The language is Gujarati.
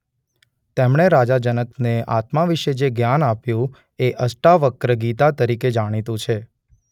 તેમણે રાજા જનકને આત્મા વિષે જે જ્ઞાન આપ્યું એ અષ્ટાવક્ર ગીતા તરીકે જાણીતું છે.